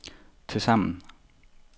tilsammen